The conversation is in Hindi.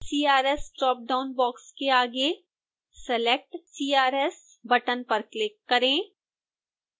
crs ड्रापडाउन बॉक्स के आगे select crs बटन पर क्लिक करें